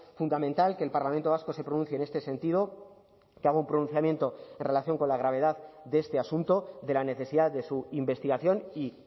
fundamental que el parlamento vasco se pronuncie en este sentido que haga un pronunciamiento en relación con la gravedad de este asunto de la necesidad de su investigación y